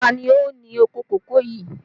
Ta ni ó ní oko kòkó yìí?